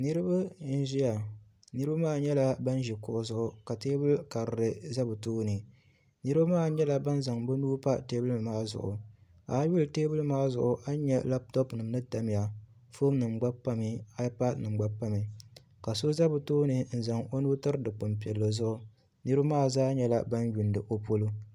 Niraba n ʒiya niraba maa nyɛla bin ʒi kuɣu zuŋu ka tewbuli karili ʒɛ bi tooni niraba maa nyɛla bin zaŋ bi nuhi pa teebuli maa zuɣu a lihi teebuli maa zuɣu a ni nyɛ labtop nim ni tamya foon nima gba pami aaipad nim gna pami ka so ʒɛ bi tooni n zaŋ o nuu tiri dikpuni piɛlli polo niraba maa zaa nyɛla bin yuundi o polo